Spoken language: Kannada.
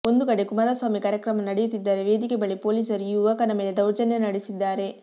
ಒಂದು ಕಡೆ ಕುಮಾರಸ್ವಾಮಿ ಕಾರ್ಯಕ್ರಮ ನಡೆಯುತ್ತಿದ್ದರೆ ವೇದಿಕೆ ಬಳಿ ಪೊಲೀಸರು ಈ ಯುವಕನ ಮೇಲೆ ದೌರ್ಜನ್ಯ ನಡೆಸಿದ್ದಾರೆ